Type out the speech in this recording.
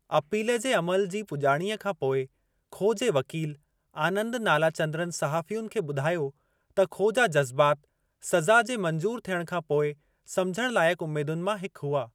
Appeal जे अमलु जी पुॼाणीअ खां पोइ खो जे वकील आनंद नालाचंद्रन सहाफ़ियुनि खे ॿुधायो त खो जा जज़बात सज़ा जे मंजूरु थियणु खां पोइ सम्झणु लाइक़ उमेदुनि मां हिक हुआ।